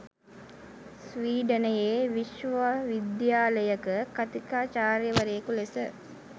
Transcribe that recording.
ස්‌වීඩනයේ විශ්වවිද්‍යාලයක කථිකාචාර්යවරයකු ලෙස